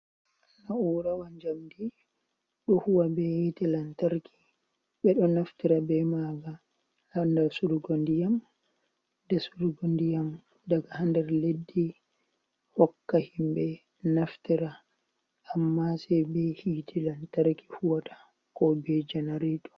Na'urawa jamdi ɗo huwa be hite lantarki ɓe ɗo naftira be maaga ha dasurgo diyam dasurgo ndiyam daga ha nder leddi hokka himɓe naftira amma sai be hite lantarki huwata ko be jenarato.